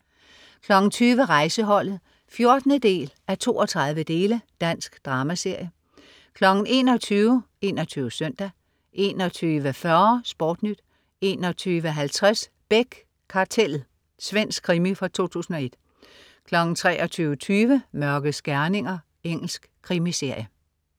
20.00 Rejseholdet 14:32. Dansk dramaserie 21.00 21 Søndag 21.40 SportNyt 21.50 Beck: Kartellet. Svensk krimi fra 2001 23.20 Mørkets gerninger. Engelsk krimiserie